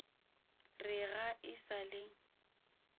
re ga e sa le